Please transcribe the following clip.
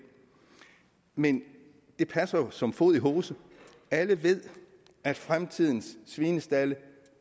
men det passer jo som fod i hose alle ved at fremtidens svinestalde